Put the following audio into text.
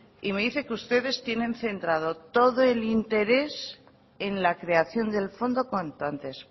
y me dicen que ustedes tienen centrado todo el interés en la creación del fondo cuanto antes